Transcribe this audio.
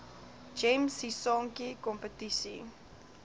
gems sisonke kompetisie